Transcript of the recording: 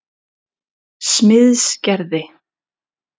Smiðsgerði